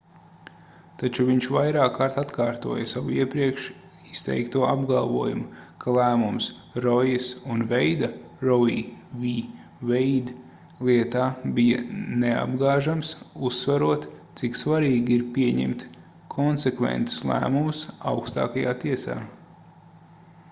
taču viņš vairākkārt atkārtoja savu iepriekš izteikto apgalvojumu ka lēmums roijas un veida roe v. wade lietā bija neapgāžams uzsverot cik svarīgi ir pieņemt konsekventus lēmumus augstākajā tiesā